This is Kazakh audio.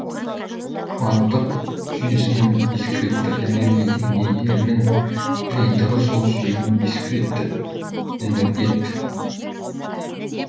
кванттық жүйесінің дискретті энергия деңгейдерінің жиынтығы сол жүйенің дискретті энергет